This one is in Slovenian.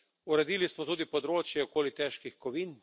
Uredili smo tudi področje okoli težkih kovin.